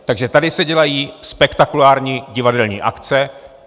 Takže tady se dělají spektakulární divadelní akce.